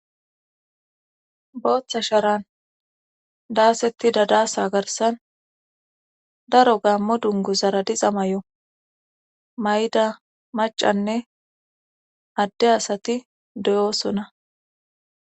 booththa sharan daasetti dadaasa garsan daro gaammo dungu zara dixa may7o may7da macanne adde asati doyoosona